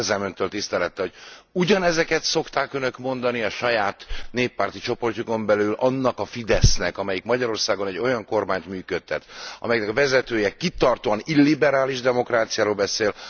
De kérdezem Öntől tisztelettel, hogy ugyanezeket szokták Önök mondani a saját néppárti csoportjukon belül annak a Fidesznek, amelyik Magyarországon egy olyan kormányt működtet, amelyiknek a vezetője kitartóan illiberális demokráciáról beszél.